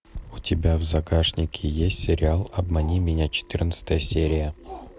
у тебя в загашнике есть сериал обмани меня четырнадцатая серия